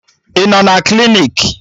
Ị nọ na klinik?